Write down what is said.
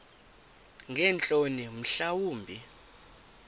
ngeentloni mhla wumbi